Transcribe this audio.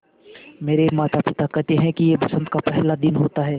मेरे माता पिता केहेते है कि यह बसंत का पेहला दिन होता हैँ